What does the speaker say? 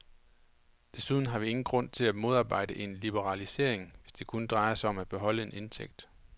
Desuden har vi ingen grund til at modarbejde en liberalisering, hvis det kun drejer sig om at beholde en indtægt.